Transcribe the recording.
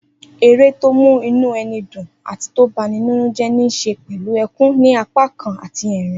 Eré tí ó mú inú ẹni dùn àti tó bani nínújẹ́ ní ṣe pẹ̀lú ẹkún ní apá kan àti ẹ̀rín